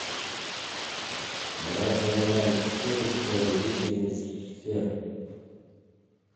давай поиграем в скил повелители сфер